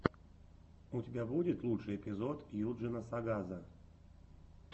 у тебя будет лучший эпизод юджина сагаза